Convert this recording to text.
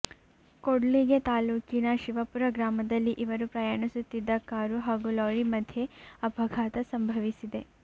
ಕೂಡ್ಲಿಗಿ ತಾಲೂಕಿನ ಶಿವಪುರ ಗ್ರಾಮದಲ್ಲಿ ಇವರು ಪ್ರಯಾಣಿಸುತ್ತಿದ್ದ ಕಾರು ಹಾಗೂ ಲಾರಿ ಮಧ್ಯೆ ಅಪಘಾತ ಸಂಭವಿಸಿದೆ